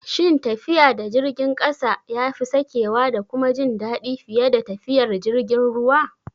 Shin tafiya da jirgin ƙasa yafi sakewa da kuma jin daɗi fiye da tafiyar jirgin ruwa?